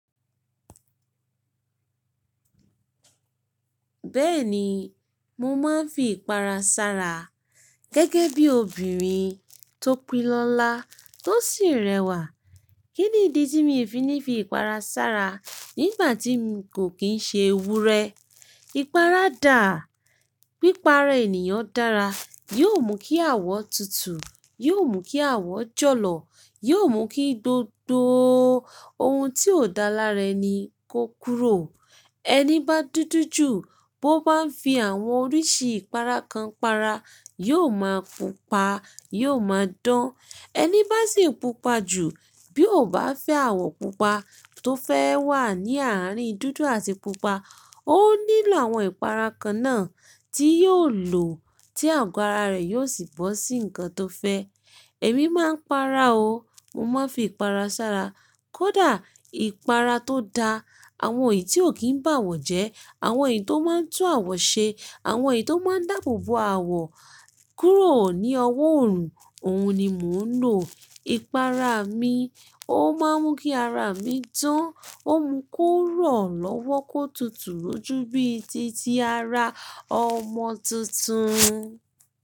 Bẹ́ẹ̀ni, mo máa ń fi ìpara ṣára. Gẹ́gẹ́ bí obìnrin tó pé lọ́lá tó sì rẹwà. Kí nì dí tí mi fi ní fi ìpara ṣára nígbà tí mo kò kín ṣe ewúrẹ́? Ìpara dà, pípa ara ènìyàn dára. Yóò mú kí àwọ̀ tutù, yóò mú kí àwọ̀ jọ̀lọ̀, yóò mú kí gbogbo ohun tí ò dálá rẹ ni kó kúrò. Ẹni bá dúdú jù, bó bá ń fi àwọn oríṣi ìpara kan para, yóò máa pupa, yóò máa dán. Ẹni bá sì pupa jù, bí ó bá fẹ́ àwọ̀ pupa tó fẹ́ wà ní àárín dúdú àti pupa, ó nílò àwọn ìpara kan náà tí yóò lò tí àgọ́ ara rẹ̀ yóò sì bọ́ sí nǹkan tó fẹ́. Èmi máa ń para o. Mo máa ń fi ìpara ṣára. Kódà ìpara tó da, àwọn èyí tí ò kí ń bá àwọ̀ jẹ́, àwọn èyí tó máa ń tú àwọ̀ ṣe, àwọn èyí tó máa ń dáàbò bo àwọ̀ kúrò ní ọwọ́ òòrùn, òun ni mò ń lò. Ìpara mi ó máa ń mú kí ara mi dán, ó mú kó rọ̀ lọ́wọ́ kó tutù lójú bíi ti tí ara ọmọ tuntun.